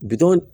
Bitɔn